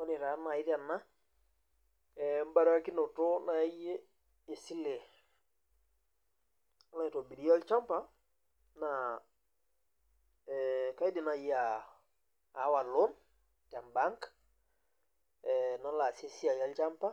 Ore taa nai tena ebarakinoto taa naai esile, nilo aitobirie olchampa, naa ee kaidim naai aa aawa loan te bank ee nalo aasie esiai olcampa,